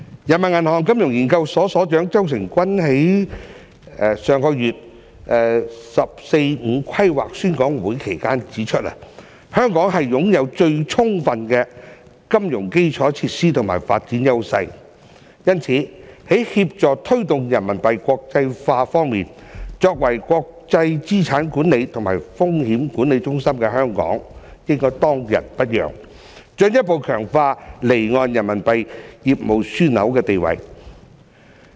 人民銀行金融研究所所長周誠君在上月"十四五"規劃宣講會期間指出，香港擁有最充分的金融基礎設施與發展優勢，因此在協助推動人民幣國際化方面，作為國際資產管理和風險管理中心的香港應當仁不讓，進一步強化離岸人民幣業務樞紐的地位。